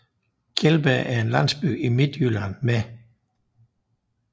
Kjeldbjerg er en landsby i Midtjylland med